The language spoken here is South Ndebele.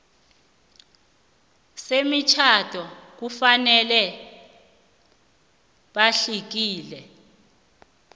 semitjhado kufanele batlikitle